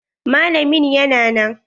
Malamin ya na nan?